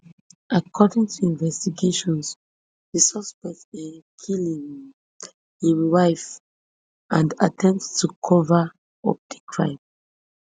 according to investigations di suspect um kill um im wife and attempt to cover up di crime